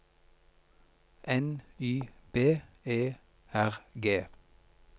N Y B E R G